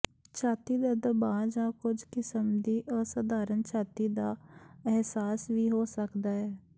ਛਾਤੀ ਦਾ ਦਬਾਅ ਜਾਂ ਕੁਝ ਕਿਸਮ ਦੀ ਅਸਧਾਰਨ ਛਾਤੀ ਦਾ ਅਹਿਸਾਸ ਵੀ ਹੋ ਸਕਦਾ ਹੈ